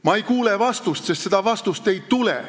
Ma ei kuule vastust, sest seda vastust ei tule.